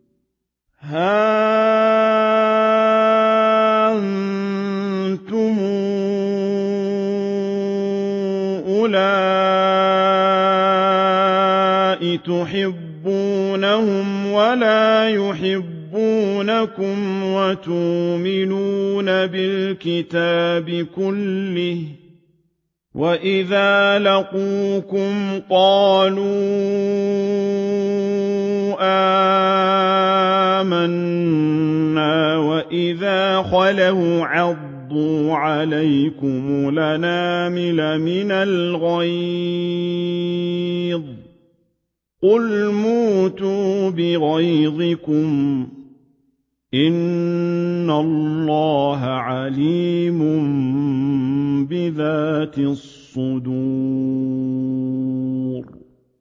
هَا أَنتُمْ أُولَاءِ تُحِبُّونَهُمْ وَلَا يُحِبُّونَكُمْ وَتُؤْمِنُونَ بِالْكِتَابِ كُلِّهِ وَإِذَا لَقُوكُمْ قَالُوا آمَنَّا وَإِذَا خَلَوْا عَضُّوا عَلَيْكُمُ الْأَنَامِلَ مِنَ الْغَيْظِ ۚ قُلْ مُوتُوا بِغَيْظِكُمْ ۗ إِنَّ اللَّهَ عَلِيمٌ بِذَاتِ الصُّدُورِ